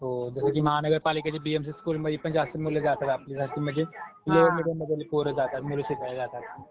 हो, जसं की महानगरपालिकेच्या बीएमसी स्कूलमध्येपण जास्त मुलं जातात आपली जास्ती म्हणजे लोवर मिडीयममध्ये बी पोरं जातात, मुलं शिकाया जातात.